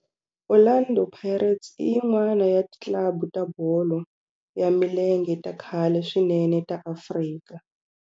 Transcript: Orlando Pirates i yin'wana ya ti club ta bolo ya milenge ta khale swinene ta Afrika.